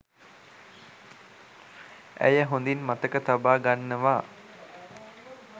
ඇය හොඳින් මතක තබා ගන්නවා.